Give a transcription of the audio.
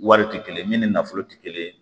Wari tɛ kelen min ni nafolo tɛ kelen ye